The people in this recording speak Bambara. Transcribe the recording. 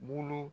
Bulu